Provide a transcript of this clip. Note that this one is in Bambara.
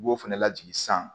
U b'o fana lajigin san